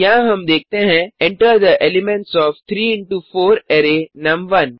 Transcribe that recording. यहाँ हम देखते हैं Enter the elements of 3 into 4 array नुम1